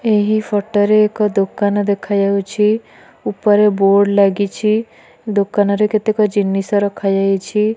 ଏହି ଫଟୋ ରେ ଏକ ଦୋକାନ ଦେଖା ଯାଉଛି ଉପରେ ବୋର୍ଡ଼ ଲାଗିଛି ଦୋକାନରେ କେତେକ ଜିନିଷ ରଖା ଯାଇଛି।